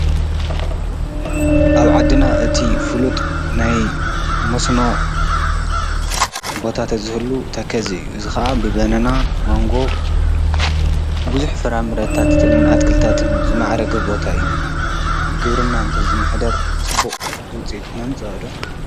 ኣብ ዓድና እቲ ፍሉጥ ናይ መስኖ ቦታት ዘህሉ ተከዘ እዝ ኸዓ ብበነና መንጎ ብዙኅ ፍራ ምረታትእንኣትክልታትን ዝመዓረገ ቦታ እዩ ብግብርና እንተ ዝምኅደር ጽቡቕ ዉፀትመምጸ ወዶ?